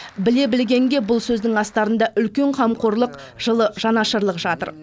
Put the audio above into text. біле білгенге бұл сөздің астарында үлкен қамқорлық жылы жанашырлық жатыр